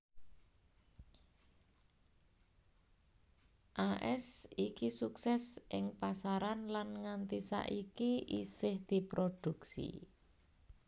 As iki suksès ing pasaran lan nganti saiki isih diproduksi